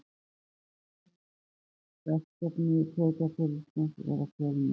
Hann segir verkefni sveitarfélagsins vera fjölmörg